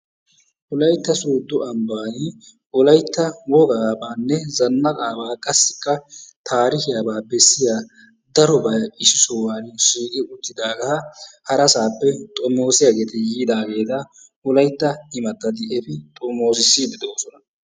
Wolaytta sooddo ambbaan wolaytta wogaabaanne zanaqqabaa qassikka taarikkiyabaa besiya darobay issi sohuwan shiiqqi uttidaagaa harassappe xommoossiyageeti yiidaageeta wolaytta imatati efi xommoossissiidi de'oosona.